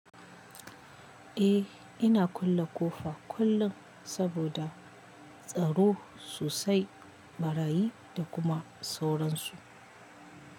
Eh ina kulle ƙofa kullum saboda tsaro sosai, ɓarayi da kuma sauransu.